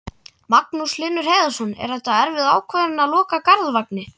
Magnús Hlynur Hreiðarsson: Er þetta erfið ákvörðun að loka Garðvangi?